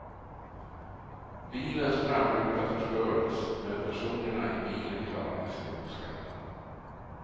Bilens framruta förstördes, men personerna i bilen klarade sig oskadda.